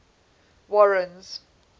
warren's